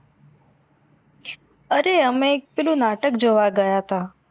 અરે અમે એક પેલું નાટક જોવા ગયા હતા